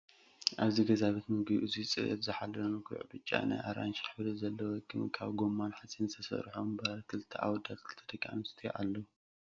ኣብዚ ገዛ ቤት ምግቢ እዙይ ፅሬቱ ዝሓለወን ጉዕ ብጫ ፣ ናይ ኣራንሺ ሕብሪ ዘለወቅም ካብ ጎማን ካብ ሓፂን ዝተሰርሑ ወንበራት ክልተ ኣወዳት ክልተ ደቂ ኣንስትዮን ኣለው።